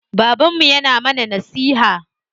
Babanmu yana mana nasiha.